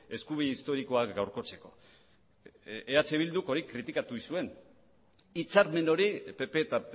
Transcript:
eskubide historikoak gaurkotzeko eh bilduk hori kritikatu egin zuen hitzarmen hori pp eta